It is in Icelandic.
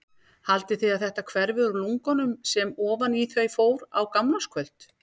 Haldið þið að þetta hverfi úr lungunum sem ofan í þau fór á gamlárskvöld?